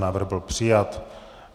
Návrh byl přijat.